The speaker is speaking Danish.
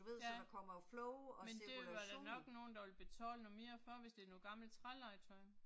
Ja. Men det var der nok nogen der vil betale noget mere for hvis det er noget gammelt trælegetøj